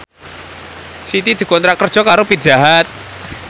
Siti dikontrak kerja karo Pizza Hut